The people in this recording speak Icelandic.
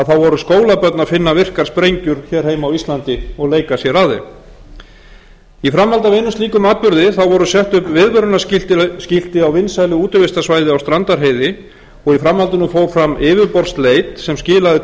þá voru skólabörn að finna virkar sprengjur hér heima á íslandi og leika sér að þeim í framhaldi af einum slíkum atburði voru sett upp viðvörunarskilti á vinsælu útivistarsvæði á strandarheiði og í framhaldinu fór fram yfirborðsleit sem skilaði